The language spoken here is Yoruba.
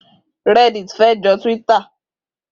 Rẹ́ddit fé jọ Tíwíttà.